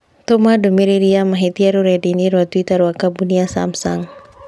Tũma ndũmĩrĩri ya mahĩtia rũrenda-inī rũa tũita rũa kambuni ya samsung